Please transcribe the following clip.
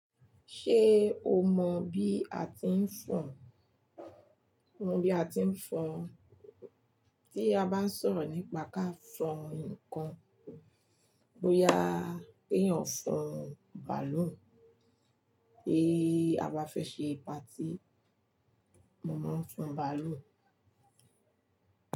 Ṣé o mọ bí a ti ń fọn? Ohun bí a ti ń fọn, tí a bá n sọ̀rọ̀ nípa ká fọn ǹkan. Bóyá kéyàn fọn bàálù, bí a bá fẹ́ ṣe patí, mo mó ń fọn bàálù.